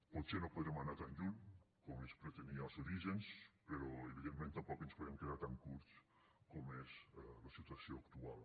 potser no podrem anar tan lluny com es pretenia als orígens però evidentment tampoc no ens podem quedar tan curts com és la situació actual